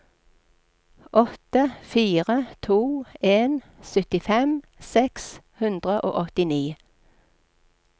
åtte fire to en syttifem seks hundre og åttini